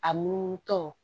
A munu tɔ